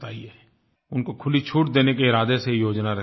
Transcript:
उनको खुली छूट देने के इरादे से ये योजना रखी गयी है